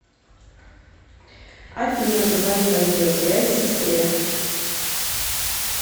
афина позвони по видеосвязи сестре